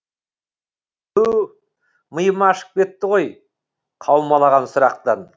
түу миым ашып кетті ғой қаумалаған сұрақтан